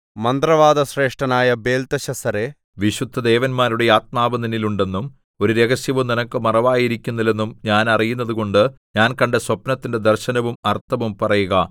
മന്ത്രവാദശ്രേഷ്ഠനായ ബേൽത്ത്ശസ്സരേ വിശുദ്ധദേവന്മാരുടെ ആത്മാവ് നിന്നിൽ ഉണ്ടെന്നും ഒരു രഹസ്യവും നിനക്ക് മറവായിരിക്കുന്നില്ലെന്നും ഞാൻ അറിയുന്നതുകൊണ്ട് ഞാൻ കണ്ട സ്വപ്നത്തിന്റെ ദർശനവും അർത്ഥവും പറയുക